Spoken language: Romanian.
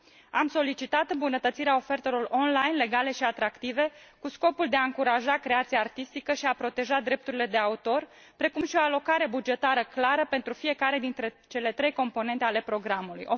Am solicitat îmbunătățirea ofertelor online, legale și atractive, cu scopul de a încuraja creația artistică și a proteja drepturile de autor, precum și o alocare bugetară clară pentru fiecare dintre cele trei componente ale programului.